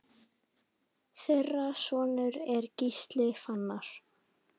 Þeirra sonur er Gísli Fannar.